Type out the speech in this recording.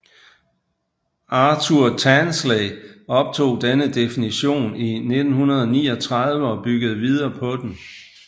Arthur Tansley optog denne definition i 1939 og byggede videre på den